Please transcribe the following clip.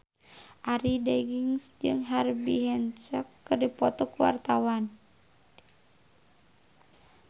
Arie Daginks jeung Herbie Hancock keur dipoto ku wartawan